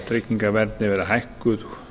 tryggingaverndin verði hækkuð